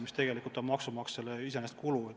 See tegelikult on maksumaksjale asjatu kulu.